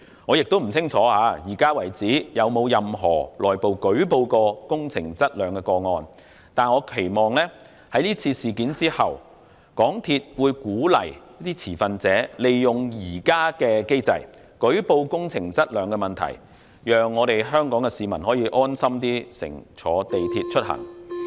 我也不清楚到目前為止，有沒有任何內部舉報工程質量的個案，但我期望在是次事件後，港鐵公司會鼓勵持份者利用現有機制，舉報工程質量的問題，讓香港市民可以安心乘坐港鐵出行。